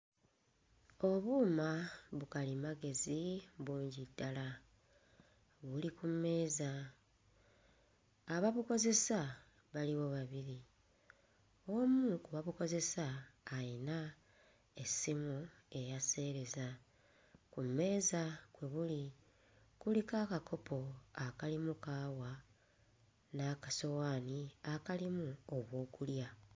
Obuuma bukalimagezi bungi ddala buli ku mmeeza ababukozesa baliwo babiri. Omu ku babukozesa ayina essimu eya sseereza. Ku mmeeza kwe buli kuliko akakopo akalimu kaawa n'akasowaani akalimu obwokulya.